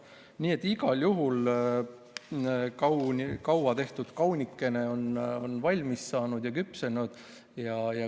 Nii et igal juhul on kaua tehtud kaunikene küpsenud ja valmis saanud.